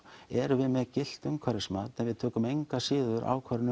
erum við með gilt umhverfismat en tökum engu að síður ákvörðun